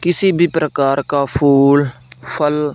किसी भी प्रकार का फूल फल --